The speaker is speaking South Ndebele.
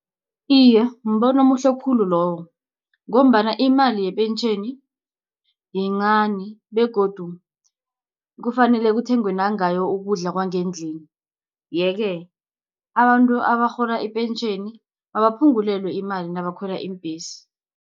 Iye mbono omuhle khulu loyo, ngombana imali yepentjheni yincani, begodu kufanele kuthengwe nangayo ukudla kwangendlini. Yeke abantu abarhola ipentjheni abaphungulelwe imali nabakhwela iimbhesi.